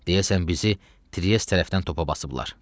Deyəsən bizi Triyes tərəfdən topa basıblar.